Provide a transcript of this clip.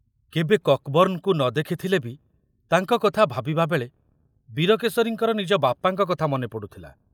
କେବେ କକବର୍ଣ୍ଣଙ୍କୁ ନ ଦେଖୁଥିଲେ ବି ତାଙ୍କ କଥା ଭାବିବାବେଳେ ବୀରକେଶରୀଙ୍କର ନିଜ ବାପାଙ୍କ କଥା ମନେ ପଡୁଥିଲା।